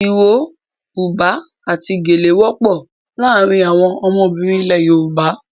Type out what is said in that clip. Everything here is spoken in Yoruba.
Iro, buba àti gèlè wọ́pọ̀ láàárín àwọn ọmọbìnrin ilẹ̀ Yorùbá.